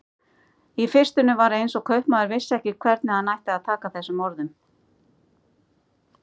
Í fyrstunni var eins og kaupmaður vissi ekki hvernig hann ætti að taka þessum orðum.